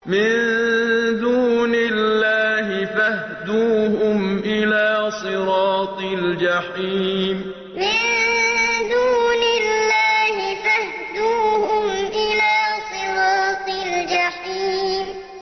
مِن دُونِ اللَّهِ فَاهْدُوهُمْ إِلَىٰ صِرَاطِ الْجَحِيمِ مِن دُونِ اللَّهِ فَاهْدُوهُمْ إِلَىٰ صِرَاطِ الْجَحِيمِ